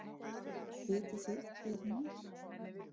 Vitið þið hver hún er?